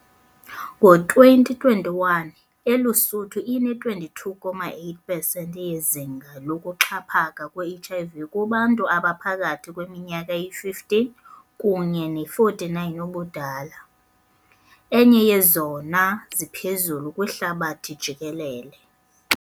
Ngo-2021, ELuSuthu ine-22.8 pesenti yezinga lokuxhaphaka kwe-HIV kubantu abaphakathi kweminyaka eyi-15 kunye ne-49 ubudala, enye yezona ziphezulu kwihlabathi jikelele.